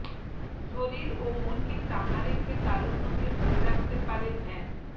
শরীর ও মনকে চাঙ্গা রেখে তারুণ্যকে ধরে রাখতে পারে ধ্যান